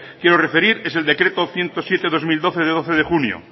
quiero referir es el decreto ciento siete barra dos mil doce de doce de junio